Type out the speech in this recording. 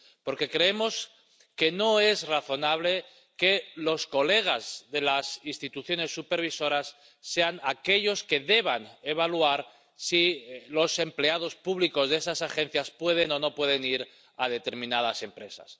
Porque creemos que no es razonable que los colegas de las instituciones supervisoras sean aquellos que deban evaluar si los empleados públicos de esas agencias pueden o no pueden ir a determinadas empresas.